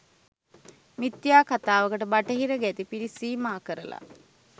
මිත්‍යා කතාවකට බටහිර ගැති පිරිස් සීමා කරලා